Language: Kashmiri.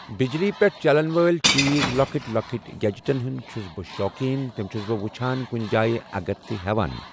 بجلی پٮ۪ٹھ چلن وٲلۍ چیٖز لکٕٹۍ لکٕٹۍ گیٚجٹن ہُنٛد چھُس بہٕ شوقیٖن تم چھُس بہٕ وٕچھان کُنہِ جایہِ اگر تہِ ہیوان۔